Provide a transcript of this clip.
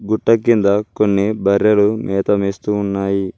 గుట్ట కింద కొన్ని బర్రెలు మేత మేస్తూ ఉన్నాయి.